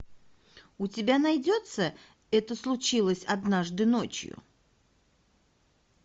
у тебя найдется это случилось однажды ночью